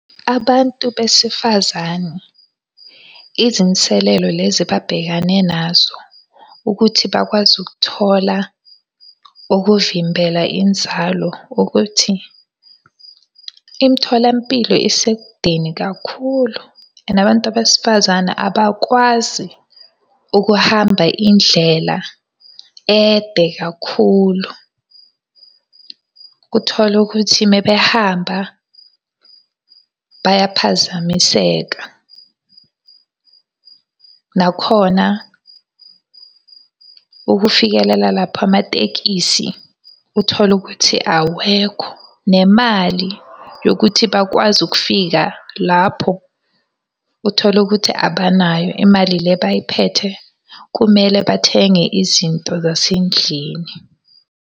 Abantu besifazane, izinselelo lezi ababhekane nazo ukuthi bakwazi ukuthola ukuvimbela inzalo, ukuthi imitholampilo isekudeni kakhulu and abantu besifazane abakwazi ukuhamba indlela ede kakhulu. Uthola ukuthi uma behamba bayaphazamiseka. Nakhona ukufikelela lapha amatekisi, uthole ukuthi awekho. Nemali yokuthi bakwazi ukufika lapho, uthole ukuthi abanayo imali le abayiphethe, kumele bathenge izinto zasendlini.